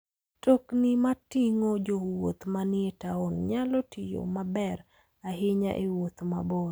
Mtokni mating'o jowuoth manie taon nyalo tiyo maber ahinya e wuoth mabor.